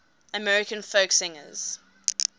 american folk singers